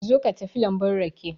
Zo ka tafi lambun rake.